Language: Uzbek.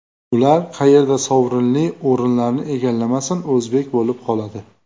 Ular qayerda sovrinli o‘rinlarni egallamasin, o‘zbek bo‘lib qoladi.